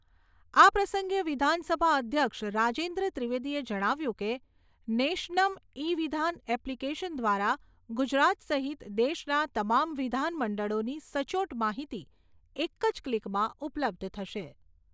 આ પ્રસંગે વિધાનસભા અધ્યક્ષ રાજેન્દ્ર ત્રિવેદીએ જણાવ્યું કે, નેશનમ્ ઇ વિધાન એપ્લીકેશન દ્વારા ગુજરાત સહિત દેશના તમામ વિધાન મંડળોની સચોટ માહિતી એક જ ક્લીકમાં ઉપલબ્ધ થશે.